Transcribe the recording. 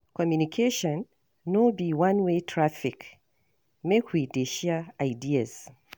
Communication no be one-way traffic, make we dey share ideas.